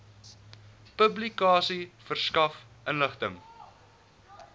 publikasie verskaf inligting